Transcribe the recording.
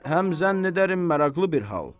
Həm zənn edərim maraqlı bir hal.